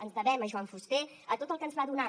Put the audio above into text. ens devem a joan fuster a tot el que ens va donar